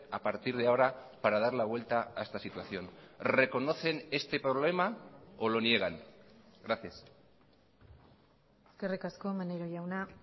a partir de ahora para dar la vuelta a esta situación reconocen este problema o lo niegan gracias eskerrik asko maneiro jauna